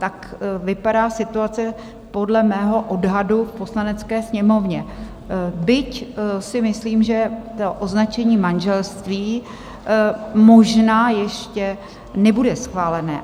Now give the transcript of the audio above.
Tak vypadá situace podle mého odhadu v Poslanecké sněmovně, byť si myslím, že to označení manželství možná ještě nebude schválené.